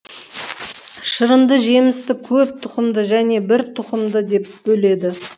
шырынды жемісті көп тұқымды және бір тұқымды деп бөледі